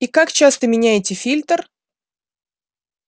и как часто меняете фильтр